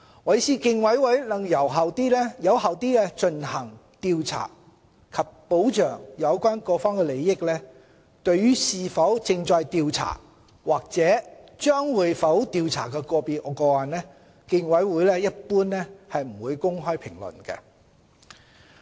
為使競委會能有效地進行調查及保障有關各方的利益，競委會對於是否正在調查或會否調查個別個案，一般不會公開評論。